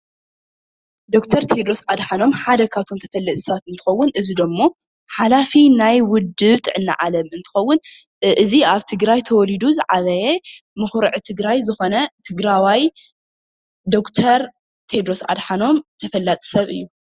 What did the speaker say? ዶክተር ቴድሮስ ኣድሓኖም ሓደ ካብቶም ተፈለጥቲ ሰባት እንትኸውን፣ እዙይ ደሞ ሓላፊ ናይ ውድብ ጥዕና ዓለም እንትኸውን፣ እዙይ ኣብ ትግራይ ተወሊዱ ዝዓበየ መኹርዒ ትግራይ ዝኾነ ትግራዋይ ዶክተር ቴድሮስ ኣድሓኖም ተፈላጢ ሰብ እዩ፡፡